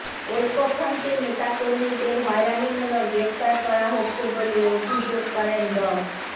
ঐক্যফ্রন্টের নেতাকর্মীদের হয়রানিমূলক গ্রেপ্তার করা হচ্ছে বলে অভিযোগ করেন ড